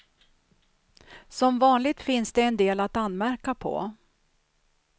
Som vanligt finns det en del att anmärka på.